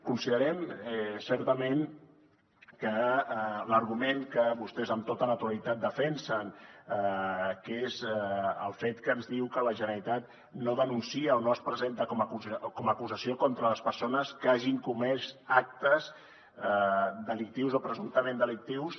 considerem certament que l’argument que vostès amb tota naturalitat defensen que és el fet que ens diu que la generalitat no denuncia o no es presenta com a acusació contra les persones que hagin comès actes delictius o presumptament delictius